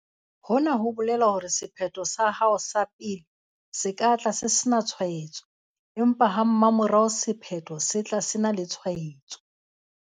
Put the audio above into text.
Hona ho bolela hore sephetho sa hao sa pele se ka tla se sena tshwaetso, empa ha mmamora sephetho sa tla se ena le tshwaetso.